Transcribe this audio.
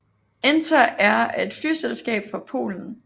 Enter Air er et flyselskab fra Polen